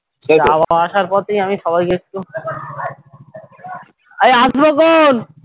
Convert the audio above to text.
যাওয়া আসার পথেই আমি সবাইকে একটু অরে আসবো ক্ষণ